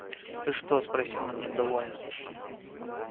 ты что спросил он недовольно